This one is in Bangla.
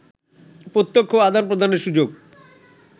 প্রত্যক্ষ আদান-প্রদানের সুযোগ